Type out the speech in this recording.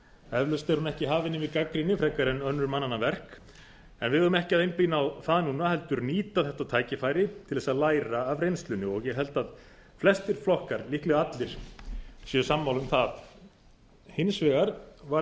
eflaust er hún ekki hafin yfir gagnrýni frekar en önnur mannanna verk en við eigum ekki að einblína á það núna heldur nýta þetta tækifæri til að læra af reynslunni og ég held að flestir flokkar líklega allir séu sammála um það hins vegar varð